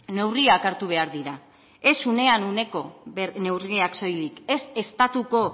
neurriak hartu behar dira ez unean uneko neurriak soilik ez estatuko